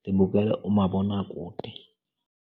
ndibukele umabonakude.